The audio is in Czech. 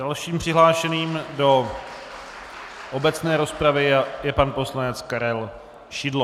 Dalším přihlášeným do obecné rozpravy je pan poslanec Karel Šidlo.